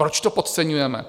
Proč to podceňujeme?